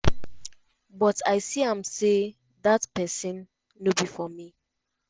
but i see am say dat pesin no be for me. "